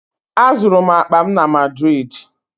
Azụrụ m akpa m na Madrịdị